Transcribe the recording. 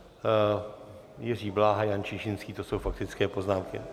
Jiří Bláha, Jan Čižinský, to jsou faktické poznámky.